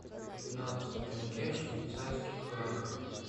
пятнадцать тенге в швейцарских франках